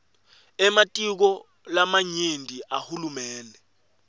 ematiko lamanyenti ahulumende